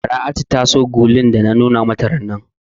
Bara'atu ta so gulun da na nuna mata rannan.